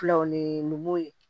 Filɛ o ni mɔmuw ye